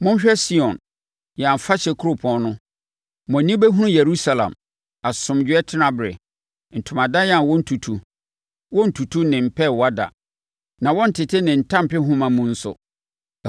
Monhwɛ Sion, yɛn afahyɛ kuropɔn no; mo ani bɛhunu Yerusalem, asomdwoeɛ tenaberɛ, ntomadan a wɔnntutu; wɔrentutu ne mpɛɛwa da, na wɔrentete ne ntampehoma mu nso.